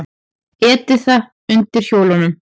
Edita undir hjólunum.